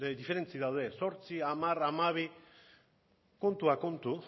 diferentzi daude zortzi hamar hamabi kontuak kontu